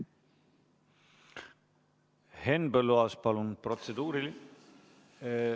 Henn Põlluaas, palun protseduuriline ...